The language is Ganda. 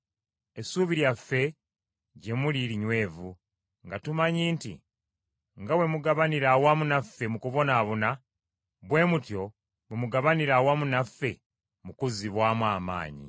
Essuubi lyaffe gye muli linywevu, nga tumanyi nti nga bwe mugabanira awamu naffe mu kubonaabona, bwe mutyo bwe mugabanira awamu naffe mu kuzibwamu amaanyi.